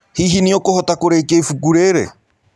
Hihi nĩũkũhota kũrĩkĩa ĩbũkũ rĩrĩ?